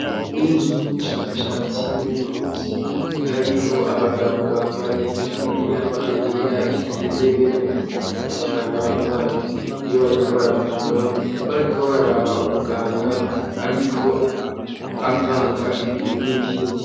Inzu y'ubushakashatsi bw'uvuzi hariho abagabo bambaye imyambaro yera ibigenewe mu kuvura abaganga bambara iyo bariko baravura bariko baraba umuganga ariko avanga ibintu n'ibindi.